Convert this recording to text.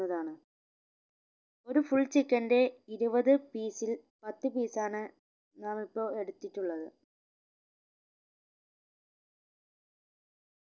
താണ് ഒരു full chicken ന്റെ ഇരുപത് piece ൽ പത്ത് piece ആണ് ഞാൻ ഇപ്പോൾ എടുത്തിട്ടുള്ളത്